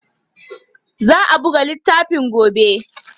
Za a buga littafin gobe.